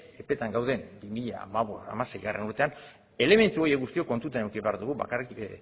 epetan gauden bi mila hamabost bi mila hamaseigarrena urtean elementu horiek guztiok kontutan eduki behar dugu bakarrik